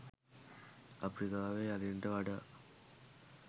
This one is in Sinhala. අප්‍රිකාවේ අලින්ට වඩා